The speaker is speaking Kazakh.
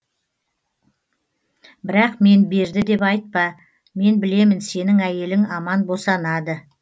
бірақ мен берді деп айтпа мен білемін сенің әйелің аман босанады